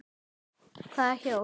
Hvaða hjól?